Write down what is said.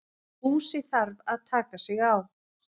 Búsi þarf að taka sig á.